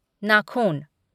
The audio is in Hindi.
नाखून